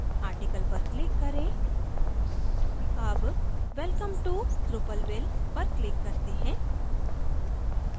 article पर click करें अब welcome to drupalville पर click करते हैं